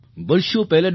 વર્ષો પહેલાં ડૉ